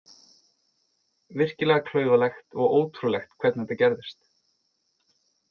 Virkilega klaufalegt og ótrúlegt hvernig þetta gerðist.